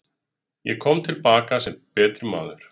Ég kom til baka sem betri maður.